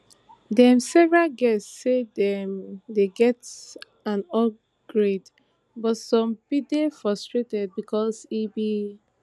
dem several guests say dem dey get an upgrade but some bin dey frustrated becos e bin